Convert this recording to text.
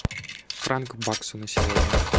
франк к баксу на сегодня